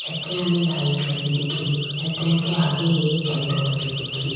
छतरिया में लाइट लगी दिखेरी छतरिया के आगे एक झंडो लगयो दिखेरयो।